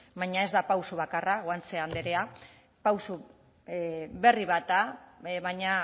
baina ez da pausu bakarra guanche andrea pausu berri bat da baina